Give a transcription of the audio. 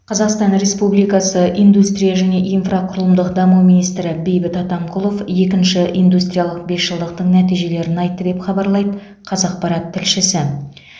қазақстан республикасы индустрия және инфрақұрылымдық даму министрі бейбіт атамқұлов екінші индустриялық бесжылдықтың нәтижелерін айтты деп хабарлайды қаақпарат тілшісі